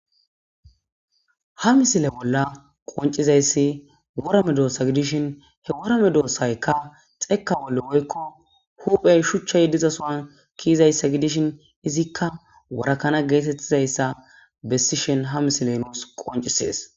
Ha missile bolla qonccizayssi woora medossa giidishin he woora meddossayka dhekka bolla huphphen shuchchay diizasson kiizayssa giidishin iizika woora kana gettetizayssa bessishin ha missiley nusi qonccises.